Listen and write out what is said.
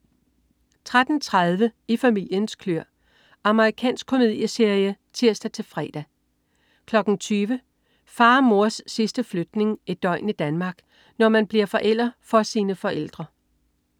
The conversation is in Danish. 13.30 I familiens kløer. Amerikansk komedieserie (tirs-fre) 20.00 Far og mors sidste flytning. Et døgn i Danmark. Når man bliver forælder for sine forældre